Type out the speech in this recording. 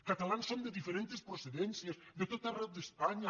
catalans som de diferents procedències de tot arreu d’espanya